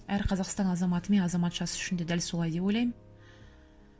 әр қазақстан азаматы мен азаматшасы үшін де дәл солай деп ойлаймын